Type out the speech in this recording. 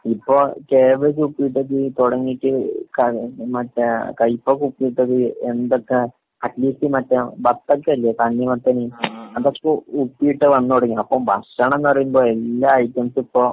ഇപ്പൊ കാബേജ് ഉപ്പിലിട്ടത് ഉപ്പിലിട്ടത് മറ്റേ കൈപ്പക്ക് ഉപ്പിലിട്ടത് ഹം എന്തൊക്കെ അറ്റ്ലീസ്റ്റ് മറ്റേ ബത്തക്കയില്ലേ തണ്ണി മത്തന്? അതൊക്കെ ഉപ്പിലിട്ട് വന്ന് തുടങ്ങി. അപ്പൊ ഭക്ഷണന്ന് പറയുമ്പോ എല്ലാ ഐറ്റംസും ഇപ്പൊ